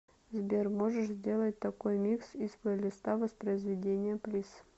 сбер можешь сделать такой микс из плейлиста воспроизведения плиз